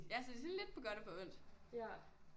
Ja så det er sådan lidt på godt og på ondt